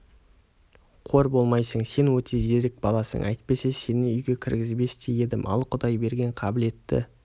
қор болмайсың сен өте зерек баласың әйтпесе сені үйге кіргізбес те едім ал құдай берген қабілетті